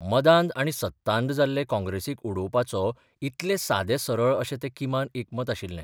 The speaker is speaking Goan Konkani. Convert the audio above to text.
मदांध आनी सत्तांध जाल्ले काँग्रेसीक उडोवपाचो इतलें सादें सरळ अशें तें किमान एकमत आशिल्ले.